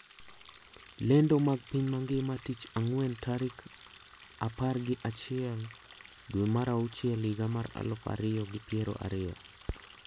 Lendo mag piny mangima tich ang`wen tarik apar gi achile dwe mar auchiel higa mar aluf ariyo gi pier ariyo